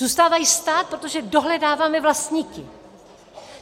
Zůstávají stát, protože dohledáváme vlastníky.